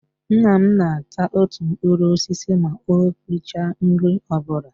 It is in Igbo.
Nna m na ata otu mkpụrụ osisi ma o richa nri ọbụla